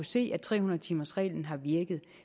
se at tre hundrede timers reglen har virket